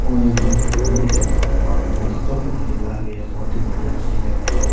कोई मंदि मंदिर है माँ को बहोत ही चोखो मंदिर लाग रेहा है बहोत ही बढ़िया मंदिर है मोटो --